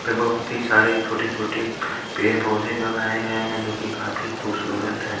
पे बहुत ही सारे छोटे छोटे पेड़ पौधे लगाए गए हैं जो की काफी खूबसूरत हैं।